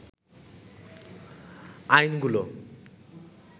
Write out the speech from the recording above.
আইনগুলো